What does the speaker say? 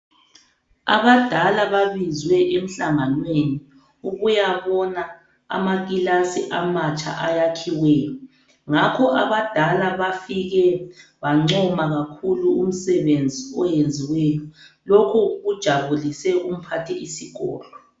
Abadala babizwe emhlanganweni ukuyabona amakilasi amatsha ayakhiweyo, ngakho abadala bafike bancoma kakhulu umsebenzi oyenziweyo. Lokhu kujabulise uMphathi isikolo.